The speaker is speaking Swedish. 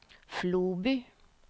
Floby